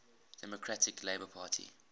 democratic labour party